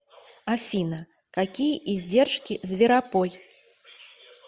афина какие издержки зверопой